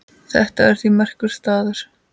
Þetta er því merkur staður.